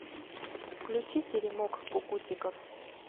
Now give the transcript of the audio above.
включи теремок кукутиков